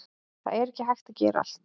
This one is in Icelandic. Það er ekki hægt að gera allt